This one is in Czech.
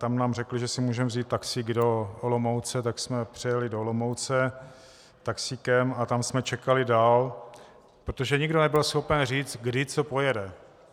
Tam nám řekli, že si můžeme vzít taxík do Olomouce, tak jsme přejeli do Olomouce taxíkem a tam jsme čekali dál, protože nikdo nebyl schopen říct, kdy co pojede.